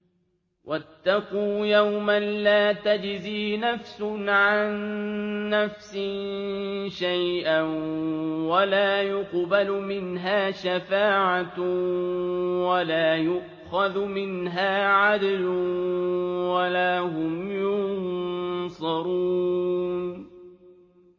وَاتَّقُوا يَوْمًا لَّا تَجْزِي نَفْسٌ عَن نَّفْسٍ شَيْئًا وَلَا يُقْبَلُ مِنْهَا شَفَاعَةٌ وَلَا يُؤْخَذُ مِنْهَا عَدْلٌ وَلَا هُمْ يُنصَرُونَ